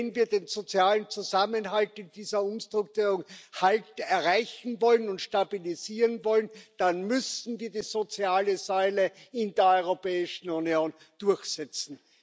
Wenn wir den sozialen Zusammenhalt in dieser Umstrukturierung erreichen und stabilisieren wollen, dann müssen wir die soziale Säule in der Europäischen Union durchsetzen.